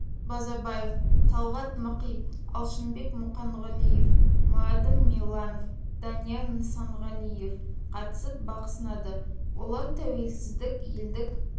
базарбаев талғат мықи алшынбек мұқанғалиев мұрадым мирланов данияр нысанғалиев қатысып бақ сынады олар тәуелсіздік елдік